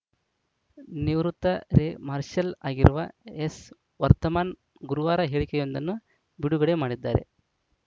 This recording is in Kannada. ನಿವೃತ್ತ ದೆ ಮಾರ್ಷಲ್‌ ಆಗಿರುವ ಎಸ್‌ ವರ್ತಮಾನ್‌ ಗುರುವಾರ ಹೇಳಿಕೆಯೊಂದನ್ನು ಬಿಡುಗಡೆ ಮಾಡಿದ್ದಾರೆ